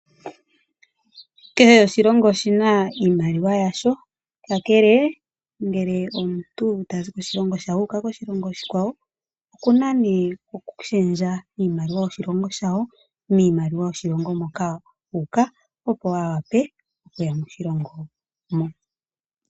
Kehe oshilongo oshina iimaliwa yasho, kakele ngele omuntu tazi koshilongo shawo uuka koshilongo oshikwawo, okuna ne oku shendja iimaliwa yoko shilongo she okuya kiimaliwa yomoshilongo moka uuka, opo avule oku yamo.